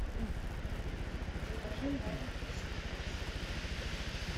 закажи маленький сникерс